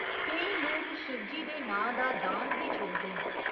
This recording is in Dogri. केईं लोक शिवजी दे नांऽ दा दांद बी छोड़दे न।